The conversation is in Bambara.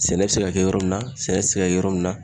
Sɛnɛ bɛ se ka kɛ yɔrɔ min na, sɛnɛ tɛ se ka kɛ yɔrɔ min na.